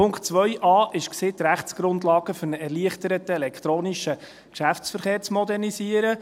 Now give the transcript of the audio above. Punkt 2.a war, die Rechtsgrundlagen für einen erleichterten elektronischen Geschäftsverkehr zu modernisieren.